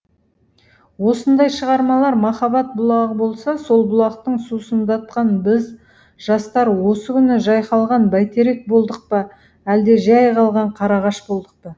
осындай шығармалар махаббат бұлағы болса сол бұлақтан сусындатқан біз жастар осы күні жайқалған бәйтерек болдық па әлде жәй қалған қарағаш болдық па